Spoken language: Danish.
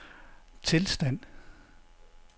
tilstand